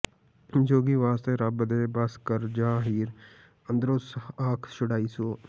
ਜੋਗੀ ਵਾਸਤੇ ਰੱਬ ਦੇ ਬਸ ਕਰ ਜਾ ਹੀਰ ਅੰਦਰੋਂ ਆਖ ਛੁਡਾਈਆਂ ਸੂ